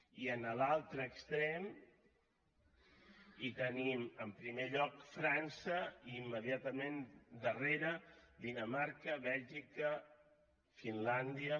i en l’altre extrem hi tenim en primer lloc frança i immediatament darrere dinamarca bèlgica finlàndia